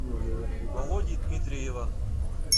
володи дмитриева